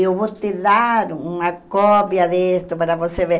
Eu vou te dar uma cópia disso para você ver.